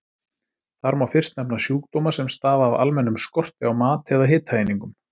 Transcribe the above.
Þar má fyrst nefna sjúkdóma sem stafa af almennum skorti á mat eða hitaeiningum.